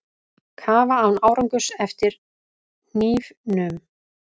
Kafa án árangurs eftir hnífnum